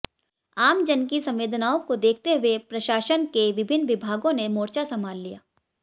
आम जन की संवेदनाओं को देखते हुए प्रशासन के विभिन्न विभागों ने मोर्चा संभाल लिया